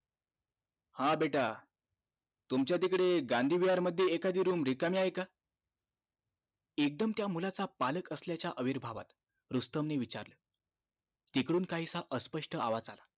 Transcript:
हा बेटा तुमच्या तिकडे गांधी विहार मध्ये एखादी room रिकामी आहे का? एकदम त्या मुलाचा पालक असल्याच्या अविर्भावात रुस्तम नि विचारलं तिकडून काहीसा अस्पष्ट आवाज आला